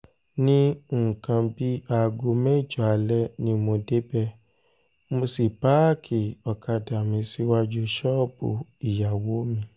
ní nǹkan bíi aago mẹ́jọ alẹ́ ni mo débẹ̀ mọ́ sí páàkì ọ̀kadà mi síwájú ṣọ́ọ̀bù ìyàwó mi